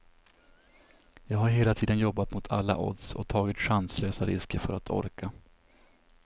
Jag har hela tiden jobbat mot alla odds och tagit chanslösa risker för att orka.